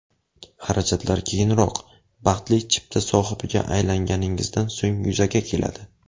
Xarajatlar keyinroq, baxtli chipta sohibiga aylanganingizdan so‘ng yuzaga keladi.